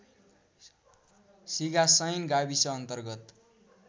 सिंगासैन गाविस अन्तर्गत